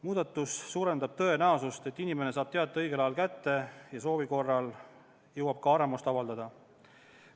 Muudatus suurendab tõenäosust, et inimene saab teate õigel ajal kätte ja jõuab soovi korral ka arvamust avaldada.